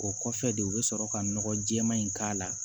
O kɔfɛ de u bɛ sɔrɔ ka nɔgɔ jɛɛma in k'a la